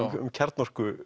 um